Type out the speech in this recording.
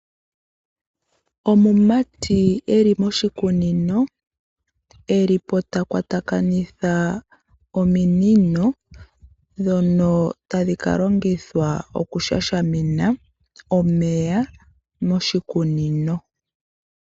Omumati eli moshikunino, eli po ta kwatakanitha ominino dhono tadhi ka longithwa okushashamina omeya moshikunino.